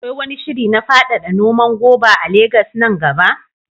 Akwai wani shiri na faɗaɗa noman goba a Legas nan gaba?